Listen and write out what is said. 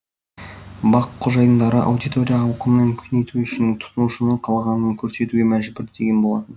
бақ қожайындары аудитория ауқымын кеңейту үшін тұтынушының қалағанын көрсетуге мәжбүр деген болатын